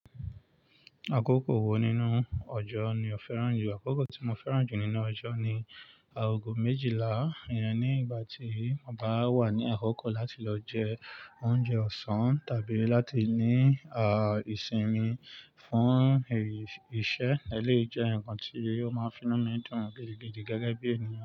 Àkókò wo nínú ọjọ́ ni o fẹ́ràn jù? Àkókò tí mo fẹ́ràn jù nínú ọjọ́ ni aago méjìlá. Ìyen ní ìgbà tí mo bá wà ní àkókò láti lọ jẹ oúnjẹ ọ̀sán tàbí láti ní, à, ìsinmi fún, erí, iṣẹ́. Èléyii jẹ́ ǹkan tí ó máa ń fi inu mí dún gidi gidi gẹgẹ bí ènìyàn.